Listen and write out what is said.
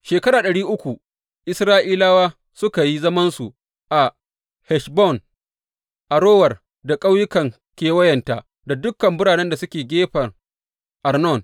Shekara ɗari uku Isra’ilawa suka yi zamansu a Heshbon, Arower da ƙauyukan kewayenta da dukan biranen da suke gefen Arnon.